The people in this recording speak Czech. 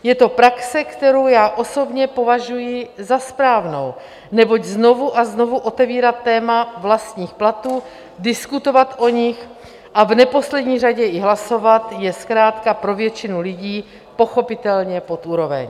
Je to praxe, kterou já osobně považuji za správnou, neboť znovu a znovu otevírat téma vlastních platů, diskutovat o nich a v neposlední řadě i hlasovat, je zkrátka pro většinu lidí pochopitelně pod úroveň.